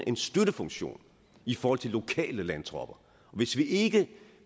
en støttefunktion i forhold til lokale landtropper og hvis vi ikke